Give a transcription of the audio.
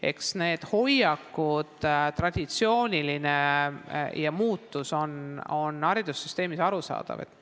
Eks need hoiakud haridussüsteemis ole arusaadavad.